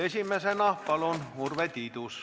Esimesena Urve Tiidus, palun!